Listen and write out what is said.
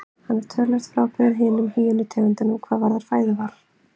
Hann er töluvert frábrugðinn hinum hýenu tegundunum hvað varðar fæðuval.